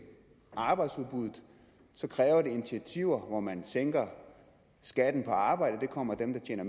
og arbejdsudbuddet kræver det initiativer hvor man sænker skatten på arbejde det kommer dem der tjener